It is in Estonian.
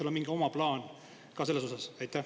Kas teil on mingi oma plaan ka selles osas?